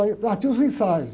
Aí, lá tinha os ensaios.